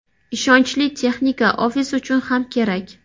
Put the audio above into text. Ishonchli texnika ofis uchun ham kerak.